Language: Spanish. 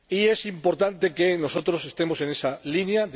Es importante que nosotros estemos en esa línea.